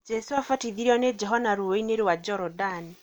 Jesu abatithiorio nĩ Johana rũĩ-inĩ rwa Jorodani.